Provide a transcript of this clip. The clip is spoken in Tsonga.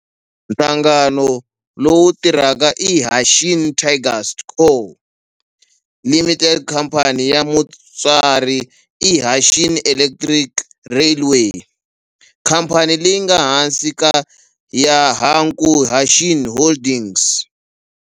Nhlangano lowu tirhaka i Hanshin Tigers Co., Ltd. Khamphani ya mutswari i Hanshin Electric Railway, khamphani leyi nga ehansi ka Hankyu Hanshin Holdings.